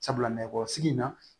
Sabula nɛgɛkɔrɔsigi in na